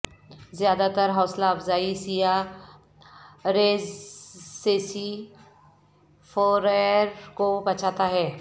زیادہ تر حوصلہ افزائی سیاح ریزسیسی فورئر کو بچاتا ہے